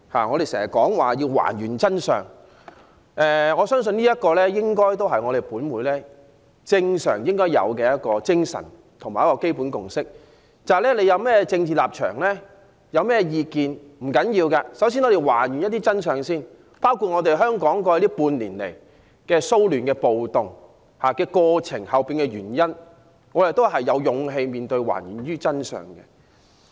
我們常說要還原真相，相信這也是本會應有的精神和基本共識，無論有甚麼政治立場和意見也沒關係，首先要還原真相，包括香港過去半年的騷亂和暴動的背後原因，我們亦應有勇氣面對，還原真相。